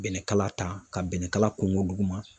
Bɛnɛkala ta ka bɛnnɛ kala kunko duguma.